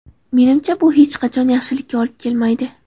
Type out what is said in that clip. Menimcha bu hech qachon yaxshilikka olib kelmaydi.